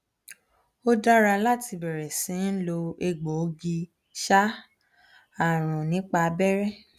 ó dára láti bẹrẹ sí ń lo egboogi um arun nípa abẹrẹ